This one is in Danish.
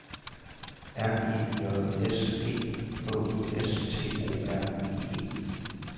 R E J S E H I S T O R I E